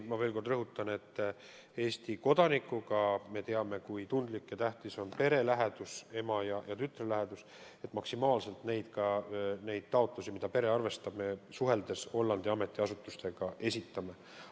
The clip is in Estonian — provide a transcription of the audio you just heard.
Ma veel kord rõhutan, et me teame, kui tundlik see teema on ja kui tähtis on pere lähedus – ema ja tütre lähedus –, ning neid taotlusi, mida pere esitab, me Hollandi ametiasutustega suheldes maksimaalselt ka edastame.